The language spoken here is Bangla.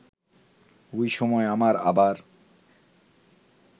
ওই সময় আমার আবার